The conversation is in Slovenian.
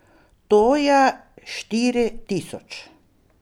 To je štiri tisoč.